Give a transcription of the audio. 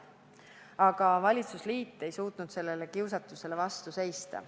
Aga valitsusliit ei suutnud sellele kiusatusele vastu seista.